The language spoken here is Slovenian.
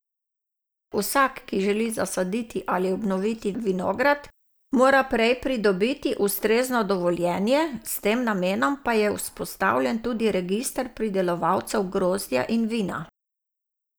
Vsak, ki želi zasaditi ali obnoviti vinograd, mora prej pridobiti ustrezno dovoljenje, s tem namenom pa je vzpostavljen tudi register pridelovalcev grozdja in vina.